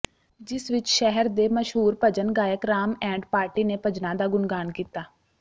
ਜਿਸ ਵਿਚ ਸ਼ਹਿਰ ਦੇ ਮਸ਼ਹੂਰ ਭਜਨ ਗਾਇਕ ਰਾਮ ਐਂਡ ਪਾਰਟੀ ਨੇ ਭਜਨਾਂ ਦਾ ਗੁਣਗਾਣ ਕੀਤਾ